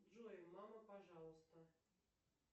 джой мама пожалуйста